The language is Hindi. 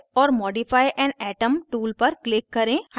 add or modify an atom tool पर click करें